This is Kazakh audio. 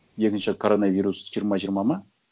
екінші коронавирус жиырма жиырма ма